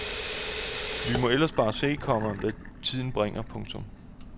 Vi må ellers bare se, komma hvad tiden bringer. punktum